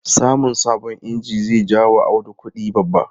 Samun sabon inji zai ja wa Audu kudi babba.